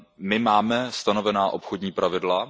My máme stanovená obchodní pravidla.